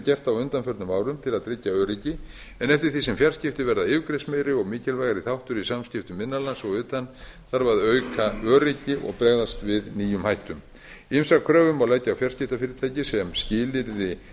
gert á undanförnum árum til að tryggja öryggi en eftir því sem fjarskipti verða yfirgripsmeiri og mikilvægari þáttur í samskiptum innan lands og utan þarf að auka öryggi og bregðast við nýjum hættum ýmsar kröfur má leggja á fjarskiptafyrirtæki sem skilyrði